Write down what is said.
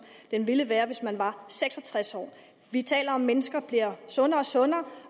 den ville være hvis man var seks og tres år vi taler om at mennesker bliver sundere og sundere